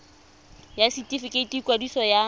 ya setefikeiti sa ikwadiso ya